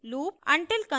until construct